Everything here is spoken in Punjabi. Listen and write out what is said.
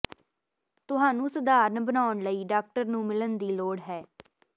ਤੁਹਾਨੂੰ ਸਧਾਰਨ ਬਣਾਉਣ ਲਈ ਡਾਕਟਰ ਨੂੰ ਮਿਲਣ ਦੀ ਲੋੜ ਹੈ